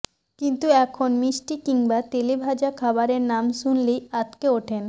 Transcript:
কিন্তু এখন মিষ্টি কিংবা তেলে ভাজা খাবারের নাম শুনলেই আঁতকে ওঠেন